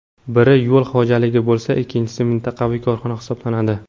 Biri yo‘l xo‘jaligi bo‘lsa, ikkinchisi mintaqaviy korxona hisoblanadi.